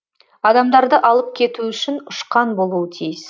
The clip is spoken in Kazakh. адамдарды алып кету үшін ұшқан болуы тиіс